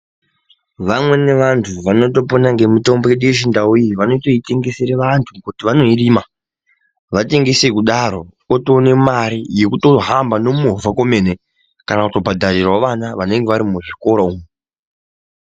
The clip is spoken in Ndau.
Vamweni vantu vanokona nemutombo yedu yechindau iyi vanotoitengesera vantu kuti vanoirima vaitengesa kudaro votopona Mari yekutohamba ndiyo kana nekuhamba nemovha kwemene kana kubhadharira vana vanenge vari muzvikora.